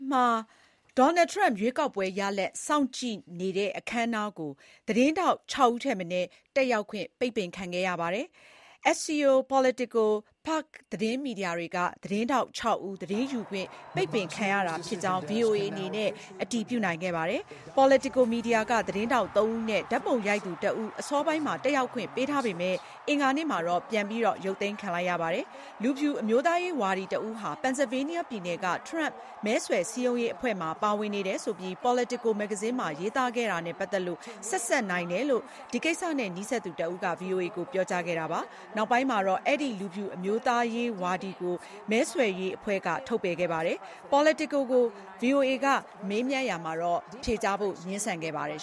မှာ Donald Trump ရွေးကောက်ပွဲရလဒ် စောင့်ကြည့်တဲ့ အခမ်းအနားကို သတင်းထောက် ၆ ဦးထက်မနည်း တက်ရောက်ခွင့် ပိတ်ပင်ခံခဲ့ရပါတယ်။ Trump နဲ့ ပတ်သက်တဲ့ သတင်းတက်ဆက်ပုံနဲ့ ဆက်စပ်ပြီး ခုလို ပိတ်ပင်ခံခဲ့ရတာပါ။ Axios, Politico နဲ့ Puck သတင်းမီဒီယာတွေက သတင်းထောက် ၆ ဦး သတင်းယူခွင့် ပိတ်ပင်ခံခဲ့ရတာဖြစ်ကြောင်း VOA အနေနဲ့ အတည်ပြုနိုင်ခဲ့ပါတယ်။ Politico မီဒီယာက သတင်းထောက် ၃ ဦးနဲ့ ဓါတ်ပုံရိုက်သူ ၁ ဦး အစောပိုင်းမှာ တက်ရောက်ခွင့် ပေးထားပေမယ့် အင်္ဂါနေ့မှာတော့ ပြန်ရုပ်သိမ်းခံလိုက်ရပါတယ်။ လူဖြူအမျိုးသားရေးဝါဒီတဦးဟာ ပန်ဆယ်လ်ဗေးနီးယားပြည်နယ်က ထရမ့် မဲဆွဲစည်းရုံးရေးအဖွဲ့မှာ ပါဝင်နေတယ်ဆိုပြီး Politico မဂ္ဂဇင်းမှာ ရေးသားခဲ့တာနဲ့ ပတ်သက်လို့ ဆက်စပ်နိုင်တယ်လို့ ဒီကိစ္စနဲ့ နီးစပ်သူတဦးက VOA ကို ပြောကြားခဲ့တာပါ။ နောက်ပိုင်းမှာတော့ အဲဒီ လူဖြူအမျိုးသားရေးဝါဒီကို မဲဆွယ်ရေးအဖွဲ့က ထုတ်ပယ်ခဲ့ပါတယ်။ Politico ကို VOA က မေးမြန်းရာမှာ ဖြေကြားဖို့ ငြင်းဆန်ခဲ့ပါတယ်